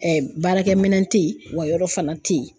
baarakɛminɛn tɛ ye, wa yɔrɔ fana tɛ yen.